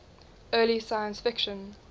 early science fiction